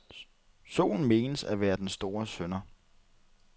Solen menes at være den store synder.